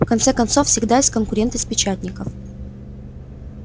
в конце концов всегда есть конкуренты с печатников